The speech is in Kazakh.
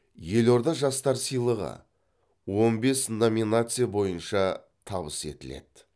елорда жастары сыйлығы он бес номинация бойынша табыс етіледі